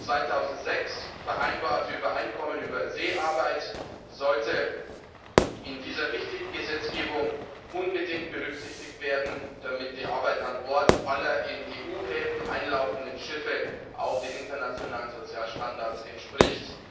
Das 2006 vereinbarte Übereinkommen über Seearbeit sollte in dieser wichtigen Gesetzgebung unbedingt berücksichtigt werden, damit die Arbeit an Bord aller in EU Häfen einlaufenden Schiffe auch den internationalen Sozialstandards entspricht.